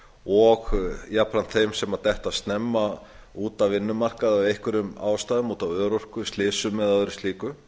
og jafnframt þeim sem detta snemma út af vinnumarkaði af einhverjum ástæðum út af örorku slysum eða öðru slíku